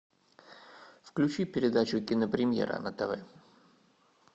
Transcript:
включи передачу кинопремьера на тв